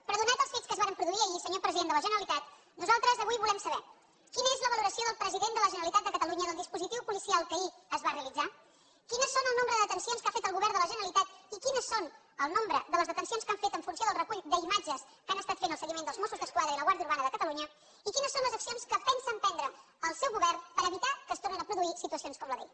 però donats els fets que es varen produir ahir senyor president de la generalitat nosaltres avui volem saber quina és la valoració del president de la generalitat de catalunya del dispositiu policial que ahir es va realitzar quin és el nombre de detencions que ha fet el govern de la generalitat i quin és el nombre de les detencions que han fet en funció del recull d’imatges que han estat fent el seguiment dels mossos d’esquadra i la guàrdia urbana de catalunya i quines són les accions que pensa emprendre el seu govern per evitar que es tornin a produir situacions com la d’ahir